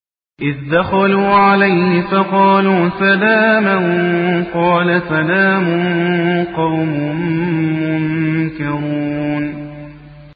إِذْ دَخَلُوا عَلَيْهِ فَقَالُوا سَلَامًا ۖ قَالَ سَلَامٌ قَوْمٌ مُّنكَرُونَ